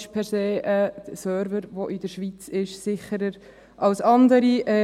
«Ist ein Server, der in der Schweiz ist, per se sicherer als andere?».